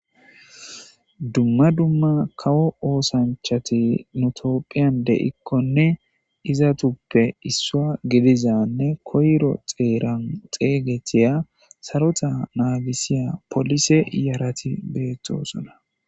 dumma dumma kawo oosanchati nutophiyan de7ikkonne izatuppe issua gelizanne koyro xeeran xeygetiya sarota naagisiya polise iyarati beettosona